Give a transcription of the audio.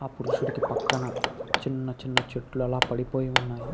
ఆ పురుషుడికి పక్కన చిన్న చిన్న చెట్లు అలా పడిపోయి ఉన్నాయి.